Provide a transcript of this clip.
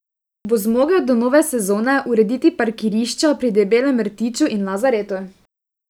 Bo zmogel do nove sezone urediti parkirišča pri Debelem rtiču in Lazaretu?